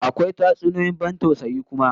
Akwa tatsuniyoyin ban tausayi kuma